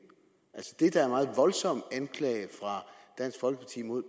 er meget voldsom anklage fra dansk folkeparti mod